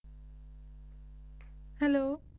Hello